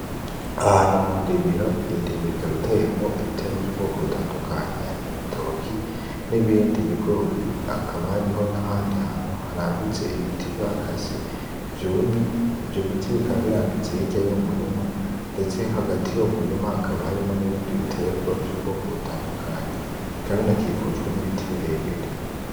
Aha hantu mu ndimiro, iyo ndimiro ikaba iteyemwo ibitegwa vy'ubwoko butandukanye harimwo ibitoki nibindi bigori ,hakaba hariho nahandi hantu harambitse ibiti bakase vyumye, ivyo biti birambitse hirya y'uwo murima ndetse hagati y'uwo murima hakaba harimwo n'ibindi bitegwa vy'ubwoko butandukanye, bikaba binakikujwe n'ibiti birebire.